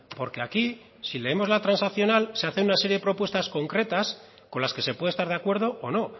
porque aquí si leemos la transaccional se hace una serie de propuestas concretas con las que se puede estar de acuerdo o no